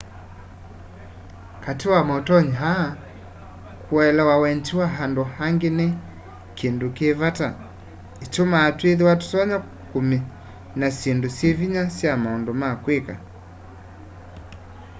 kati wa mautonyi aa kuelewa wendi wa andu angi ni kindu ki vata itumaa twithwa tutonya kumina syindu syivinya sya maundu ma kwika